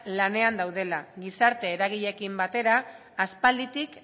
lanean daudela gizarte eragileekin batera aspalditik